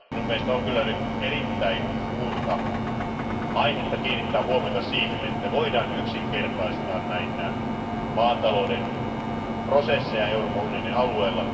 Minun mielestäni on nyt erittäin suurta aihetta kiinnittää huomiota siihen, että voidaan yksinkertaistaa näitä maatalouden prosesseja Euroopan unionin alueella.